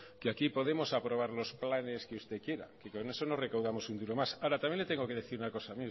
que aquí podemos aprobar los planes que usted quiera y con eso no recaudamos un duro más ahora también le tengo que decir una cosa